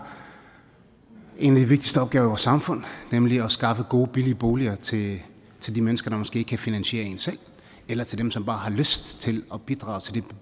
en af de vigtigste opgaver samfund nemlig at skaffe gode og billige boliger til de mennesker der måske ikke kan finansiere en selv eller til dem som bare har lyst til at bidrage til det